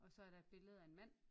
Og så er der et billede af en mand